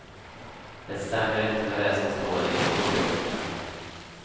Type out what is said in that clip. Det stämmer inte med det som står i historieböckerna.